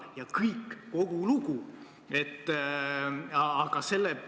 Ja kõik, kogu lugu!